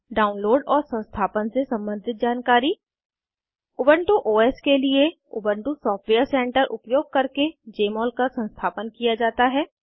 download और संस्थापन से सम्बंधित जानकारी उबन्टु ओएस के लिए उबन्टु सॉफ्टवेयर सेंटर उपयोग करके जमोल का संस्थापन किया जाता है